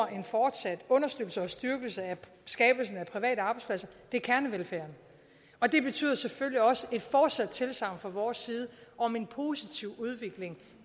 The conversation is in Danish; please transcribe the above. en fortsat understøttelse og styrkelse af skabelsen af private arbejdspladser er kernevelfærden og det betyder selvfølgelig også et fortsat tilsagn fra vores side om en positiv udvikling